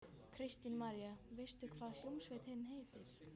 Kristín María: Veistu hvað hljómsveitin heitir?